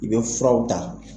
I bɛ furaw ta.